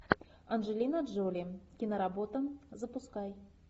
анджелина джоли киноработа запускай